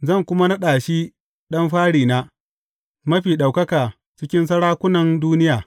Zan kuma naɗa shi ɗan farina, mafi ɗaukaka cikin sarakunan duniya.